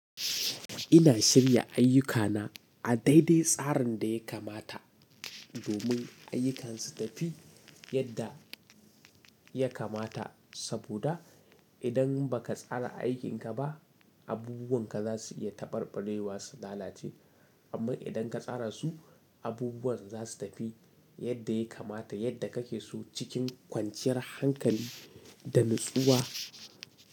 Ina shirya ayyukana a daidai tsarin da ya kamata domin ayyukansu tafi yadda ya kamata. Saboda, idan baka tsara aikin ka ba, abubuwan ka za su iya taɓarɓarewa su lalace. Amma idan ka tsara su, abubuwan za su tafi yadda ya kamata yadda kake so cikin kwanciyar hankali da nutsuwa.